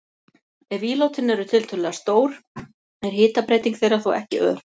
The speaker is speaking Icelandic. Ef ílátin eru tiltölulega stór er hitabreyting þeirra þó ekki ör.